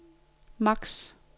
max